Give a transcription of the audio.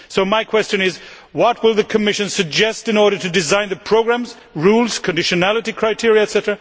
So my question is what will the Commission suggest in order to design the programmes, rules, conditionality criteria, etc.,